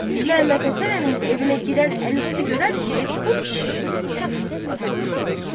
Məmmədhəsən əminin evinə girən əl üstü görər ki, bu kişi kasıb adamdır.